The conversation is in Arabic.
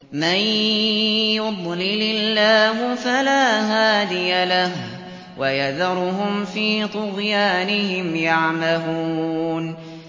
مَن يُضْلِلِ اللَّهُ فَلَا هَادِيَ لَهُ ۚ وَيَذَرُهُمْ فِي طُغْيَانِهِمْ يَعْمَهُونَ